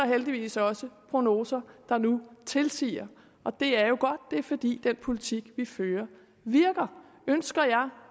heldigvis også prognoser der nu tilsiger og det er jo godt det er fordi den politik vi fører virker ønsker jeg